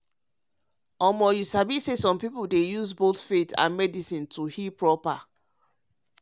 you sabi say some people dey use both faith and medicine to heal proper.